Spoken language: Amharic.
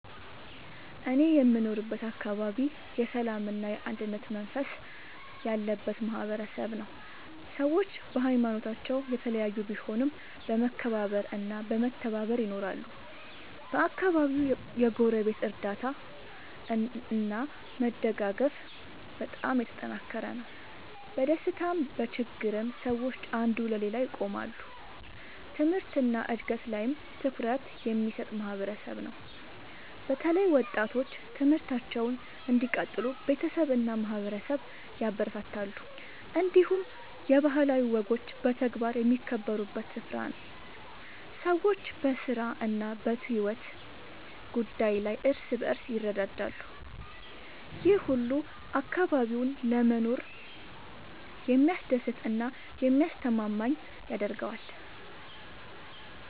እኔ የምኖርበት አካባቢ የሰላምና የአንድነት መንፈስ ያለበት ማህበረሰብ ነው። ሰዎች በሀይማኖታቸው የተለያዩ ቢሆኑም በመከባበር እና በመተባበር ይኖራሉ። በአካባቢው የጎረቤት እርዳታ እና መደጋገፍ በጣም የተጠናከረ ነው። በደስታም በችግርም ሰዎች አንዱ ለሌላው ይቆማሉ። ትምህርት እና እድገት ላይም ትኩረት የሚሰጥ ማህበረሰብ ነው። በተለይ ወጣቶች ትምህርታቸውን እንዲቀጥሉ ቤተሰብ እና ማህበረሰብ ያበረታታሉ። እንዲሁም የባህላዊ ወጎች በተግባር የሚከበሩበት ስፍራ ነው። ሰዎች በስራ እና በሕይወት ጉዳይ ላይ እርስ በርስ ይረዳዳሉ። ይህ ሁሉ አካባቢውን ለመኖር የሚያስደስት እና የሚያስተማማኝ ያደርገዋል።